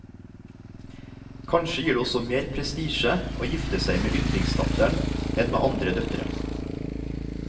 Kanskje gir det også mer prestisje å gifte seg med yndlingsdatteren enn med andre døtre.